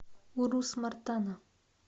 урус мартана